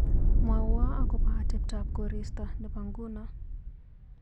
Mwawa akobo ateptap korista nebo ngunoo.